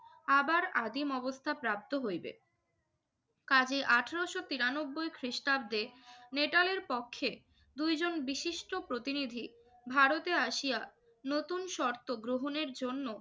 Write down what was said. আবার আদিম অবস্থা প্রাপ্ত হইবে। কাজেই আঠারোশো তিরানব্বই খ্রিস্টাব্দে নেটালের পক্ষে দুইজন বিশিষ্ট প্রতিনিধি ভারতে আসিয়া নতুন শর্ত গ্রহণের জন্য